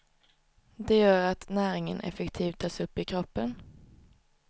Det gör att näringen effektivt tas upp i kroppen.